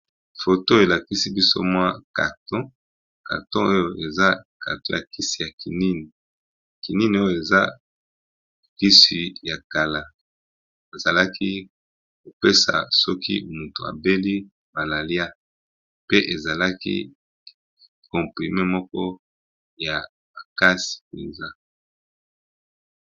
Photo elakisi biso mwa carton moko ya kisi yakomela